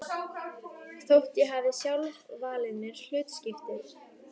Þótt ég hafi sjálf valið mér hlutskiptið.